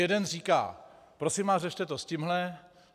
Jeden říká: Prosím vás, řešte to s tímhle.